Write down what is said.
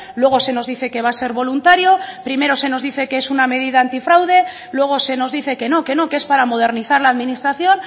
luego se nos dice que va a ser voluntario primero se nos dice que es una medida antifraude luego se nos dice que no que no que es para modernizar la administración